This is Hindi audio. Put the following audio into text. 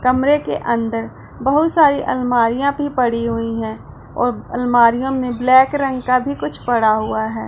कमरे के अंदर बहुत सारी अलमारियां भी पड़ी हुई है और अलमारीयों में ब्लैक रंग का भी कुछ पड़ा हुआ है।